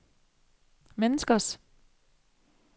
menneskers